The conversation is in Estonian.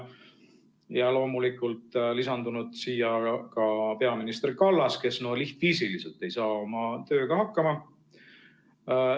Ja loomulikult on lisandunud ka peaminister Kallas, kes lihtviisiliselt ei saa oma tööga hakkama.